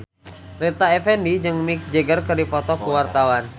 Rita Effendy jeung Mick Jagger keur dipoto ku wartawan